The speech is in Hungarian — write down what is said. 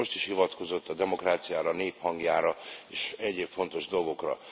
Ön most is hivatkozott a demokráciára, a nép hangjára és egyéb fontos dolgokra.